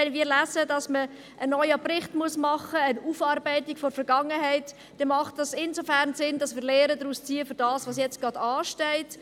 Wenn Sie also lesen, dass man einen neuen Bericht machen muss, eine Aufarbeitung der Vergangenheit, dann macht das insofern Sinn, als wir daraus Lehren für das ziehen, was jetzt gerade ansteht.